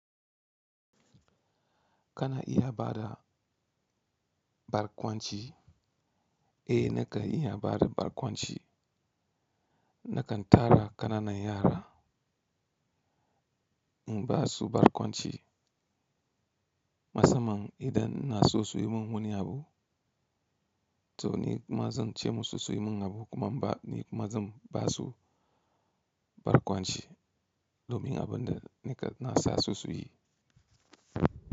Kana iya bada barkwanci, eh nika iya bada barkwanci. Nakan tara kananan yara in basu barkwanci. Masamman idan na so su yi mun wani abu, to ni kuma zan ce musu su yi mun abu kuma ni kuma zan basu barkwanci domin abin da nika na sa su yi.